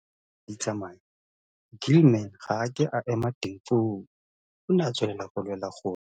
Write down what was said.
Fa dingwaga di ntse di tsamaya Gilman ga a ke a ema teng foo, o ne a tswelela go lwela gore